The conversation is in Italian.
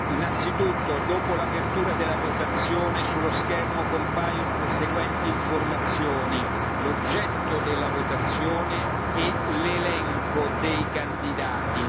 Innanzitutto, dopo l'apertura della votazione, sullo schermo compaiono le seguenti informazioni l'oggetto della votazione e l'elenco dei candidati.